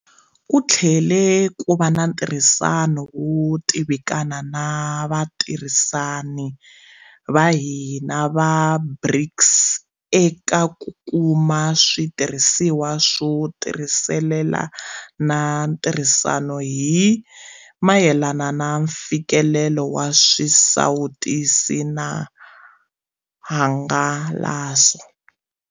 Ku tlhele ku va na ntirhisano wo tivikana na vatirhisani va hina va BRICS eka ku kuma switirhisiwa swo tisirhelela na ntirhisano hi mayelana na mfikelelo wa swisawutisi na hangalaso.